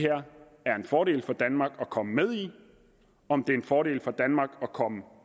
her en fordel for danmark at komme med i eller om det er en fordel for danmark at komme